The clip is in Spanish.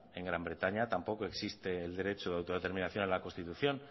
en gran bretaña tampoco existe el derecho de autodeterminación a la constitución